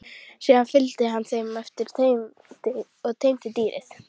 Síðan fylgdi hann þeim eftir og teymdi dýrið.